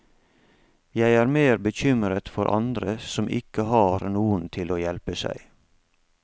Jeg er mer bekymret for andre som ikke har noen til å hjelpe seg.